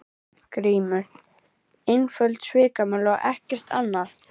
GRÍMUR: Einföld svikamylla og ekkert annað.